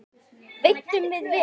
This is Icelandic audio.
Veiddum við vel.